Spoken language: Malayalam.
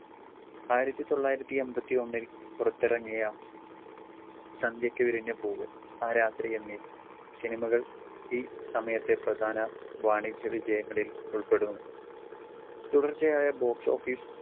ആയിരത്തി തൊള്ളായിരത്തി എമ്പത്തിയൊന്നിൽ പുറത്തിറങ്ങിയ സന്ധ്യക്ക്‌ വിരിഞ്ഞ പൂവ്, ആ രാത്രി എന്നീ സിനിമകൾ ഈ സമയത്തെ പ്രധാന വാണിജ്യ വിജയങ്ങളിൽ ഉൾപ്പെടുന്നു.